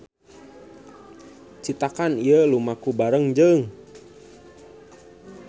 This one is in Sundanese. Citakan ieu lumaku bareng jeung